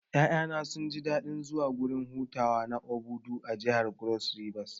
Ƴaƴana sunji daɗin zuwa gurin hutawa na Obudu a jihar Cross river